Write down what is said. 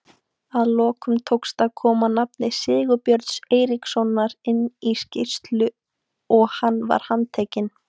Að lokum tókst að koma nafni Sigurbjörns Eiríkssonar inn í skýrslur og hann var handtekinn.